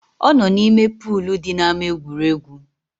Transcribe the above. Ọ nọ n’ime polu di n’ama egwuregwu